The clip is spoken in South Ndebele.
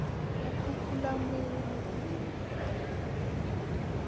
kukhukhulamungu